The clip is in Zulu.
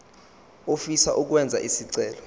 ofisa ukwenza isicelo